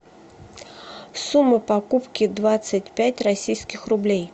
сумма покупки двадцать пять российских рублей